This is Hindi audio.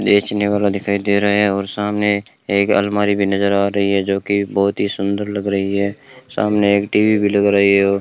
बेचने वाला दिखाई दे रहा है और सामने एक अलमारी भी नजर आ रही है जो की बहोत ही सुंदर लग रही है सामने एक टी_वी भी लग रही है और --